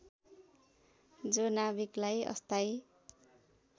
जो नाभिकलाई अस्थायी